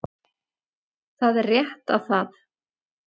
Það er rétt að það